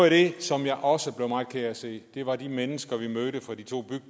af det som jeg også blev meget ked af at se var de mennesker vi mødte fra de to